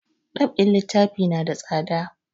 Dab'in littafi na da tsada